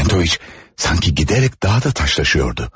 Çentoviç sanki gedərək daha da daşlaşıyordu.